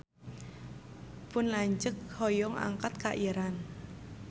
Pun lanceuk hoyong angkat ka Iran